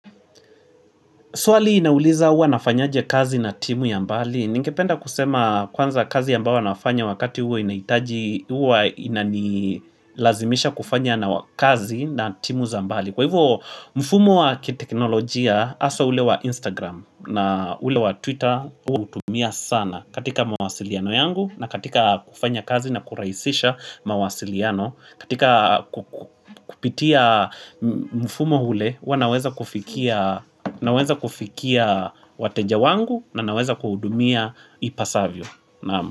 Swali inauliza huwa nafanyaje kazi na timu ya mbali. Ningependa kusema kwanza kazi ambayo nafanya wakati huo inahitaji huwa inanilazimisha kufanya na kazi na timu za mbali. Kwa hivyo mfumo wa kiteknolojia haswa ule wa Instagram na ule wa Twitter uwa nautumia sana katika mawasiliano yangu na katika kufanya kazi na kurahisisha mawasiliano. Katika kupitia mfumo ule, huwa naweza kufikia wateja wangu na naweza kuwahudumia ipasavyo.